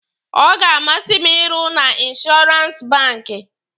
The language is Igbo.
Ọ ga-amasị m ịrụ na inshọrans banki.